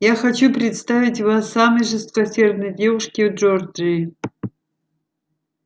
я хочу представить вас самой жесткосердной девушке в джорджии